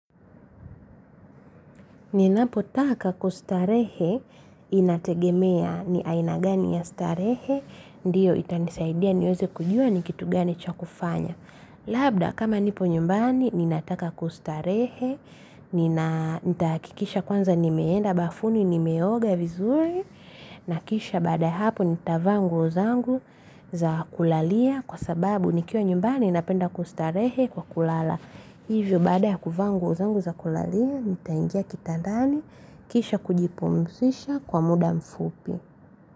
Ninapotaka kustarehe, inategemea ni aina gani ya starehe, ndiyo itanisaidia niweze kujua ni kitu gani cha kufanya. Labda, kama nipo nyumbani, ninataka kustarehe, nitahakikisha kwanza nimeenda bafuni, nimeoga vizuri, nakisha baada ya hapo nitavaa nguo zangu za kulalia kwa sababu nikiwa nyumbani ninapenda kustarehe kwa kulala. Hivyo baada ya kuvaa nguo zangu za kulalia ntaingia kitandani. Kisha kujipumzisha kwa muda mfupi.